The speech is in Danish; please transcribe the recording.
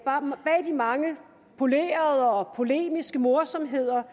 de mange polerede og polemiske morsomheder